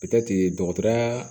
dɔgɔtɔrɔya